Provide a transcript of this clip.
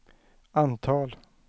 antal